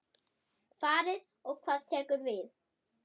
Farið og hvað tekur við?